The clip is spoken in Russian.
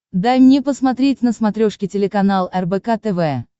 дай мне посмотреть на смотрешке телеканал рбк тв